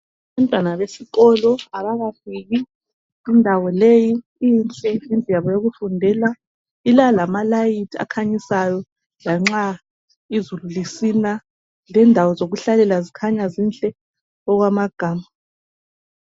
Abantwana besikolo abakafiki, indawo leyi inhle yindlu yabo yokufundela, ilalamalayithi akhanyisayo lanxa izulu lisina, lendawo zokuhlalela zikhanya zinhle okwamagama.